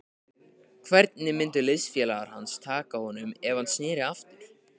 Hvernig myndu liðsfélagar hans taka honum ef hann sneri aftur?